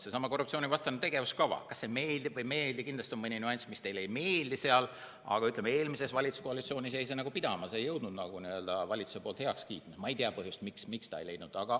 Seesama korruptsioonivastane tegevuskava, kas see siis meeldib või ei meeldi, kindlasti on mõni nüanss, mis teile seal ei meeldi, aga eelmises valitsuskoalitsioonis jäi see nagu pidama, see ei leidnud valitsuses heakskiitu, ma ei tea põhjust, aga see heakskiitu ei leidnud.